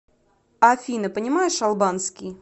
афина понимаешь албанский